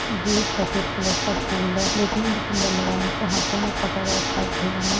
ये भी सफेद कलर का फूल है देखने मे बहुत सुंदर लगा इनको हाथों मे पकड़ रखा है एक भैया ने--